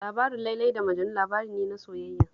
Labarin Lailai da Majanu labari ne na soyayya